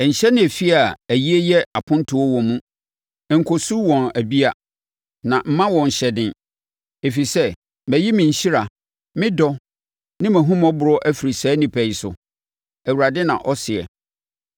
“Nhyɛne efie a ayie yɛ apontoɔ wo mu; nkɔsu wɔn abia, na mma wɔn hyɛden, ɛfiri sɛ mayi me nhyira, me dɔ ne mʼahummɔborɔ afiri saa nnipa yi so,” Awurade na ɔseɛ.